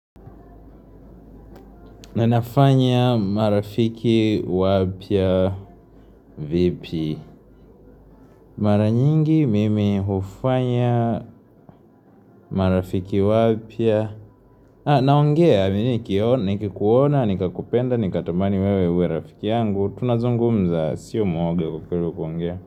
Na nafanya marafiki wapya vipi Mara nyingi mimi hufanya marafiki wapya, Naongea, nikikuona, nikakupenda, nikatamani wewe uwe rafiki yangu Tunazungumza, sio muoga kwa kweli kuongea.